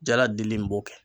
Jaladili in b'o kɛ.